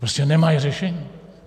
Prostě nemají řešení.